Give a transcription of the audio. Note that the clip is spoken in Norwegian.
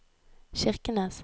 Kirkenes